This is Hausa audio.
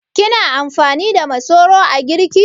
Kina amfani da masoro a girki?